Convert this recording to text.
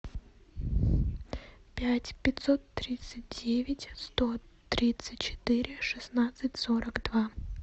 пять пятьсот тридцать девять сто тридцать четыре шестнадцать сорок два